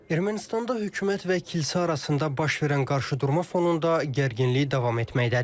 Ermənistanda hökumət və kilsə arasında baş verən qarşıdurma fonunda gərginlik davam etməkdədir.